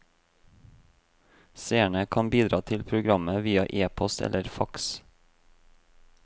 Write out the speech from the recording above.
Seerne kan bidra til programmet via epost eller faks.